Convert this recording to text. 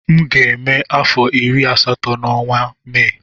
M ga-eme afọ iri na asatọ na ọnwa Mee